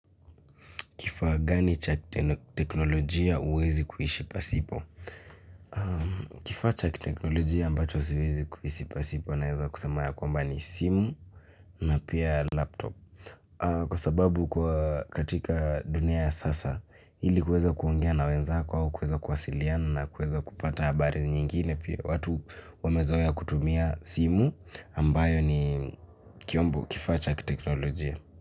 Kifaa gani cha kiteknolojia huwezi kuishi pasipo? Kifaa cha kiteknolojia ambacho siwezi kuishi pasipo naweza kusema ya kwamba ni simu, na pia 'laptop'. Kwa sababu kwa katika dunia ya sasa, ili uweze kuongea na wenzako au kuweza kuwasiliana na kuweza kupata habari nyingine, pia watu wamezoea kutumia simu ambayo ni kifaa cha kiteknolojia.